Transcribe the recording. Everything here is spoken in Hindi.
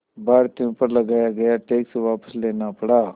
भारतीयों पर लगाया गया टैक्स वापस लेना पड़ा